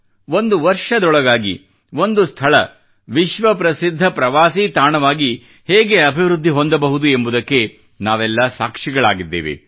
ಒಂದು ವರ್ಷದೊಳಗಾಗಿ ಒಂದು ಸ್ಥಳ ವಿಶ್ವ ಪ್ರಸಿದ್ಧ ಪ್ರವಾಸಿ ತಾಣವಾಗಿ ಹೇಗೆ ಅಭಿವೃದ್ಧಿ ಹೊಂದಬಹುದು ಎಂಬುದಕ್ಕೆ ನಾವೆಲ್ಲಾ ಸಾಕ್ಷಿಗಳಾಗಿದ್ದೇವೆ